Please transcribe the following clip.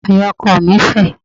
Àyà ọkọọ̀ mi fẹ̀.